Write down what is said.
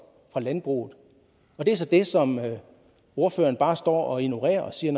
fra landbruget det er så det som ordføreren bare står og ignorerer og siger